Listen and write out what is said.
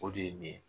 O de ye nin ye